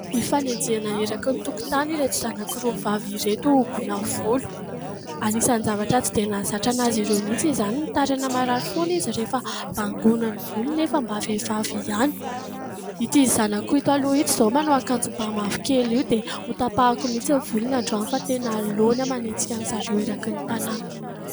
Ifanenjehina eraky ny tokotany ireto zanako roa vavy ireto hogoina volo. Anisan'ny zavatra tsy dia nahazatra anazy ireo mihitsy izany mitaraina marary foana izy rehefa bangoina ny volony nefa mba vehivavy ihany. Ity zanako ito aloha ito izao manao akanjo ba mavokely io dia hotapahako mihitsy ny volony androany fa tena laony aho manenjika an'zareo eraky ny tanana.